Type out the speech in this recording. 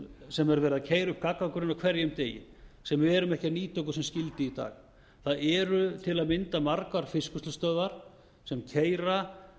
sem er verið að keyra upp gagnagrunna á hverjum degi sem við erum ekki að nýta okkur sem skyldi í dag það eru til að mynda margar fiskvinnslustöðvar sem keyra